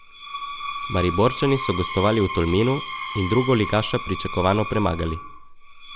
Mariborčani so gostovali v Tolminu in drugoligaša pričakovano premagali.